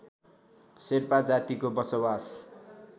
शेर्पा जातिको बसोवास